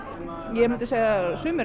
ég myndi segja að sumir